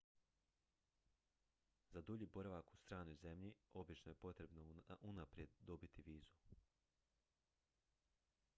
za dulji boravak u stranoj zemlji obično je potrebno unaprijed dobiti vizu